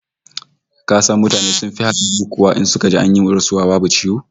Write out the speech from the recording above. Ka san mutane sun fi kawo hatsari in suka ji an yi rasuwa babu ciwo?